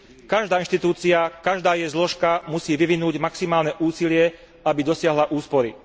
Každá inštitúcia, každá jej zložka musí vyvinúť maximálne úsilie, aby dosiahla úspory.